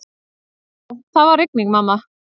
Já, það var rigning, mamma.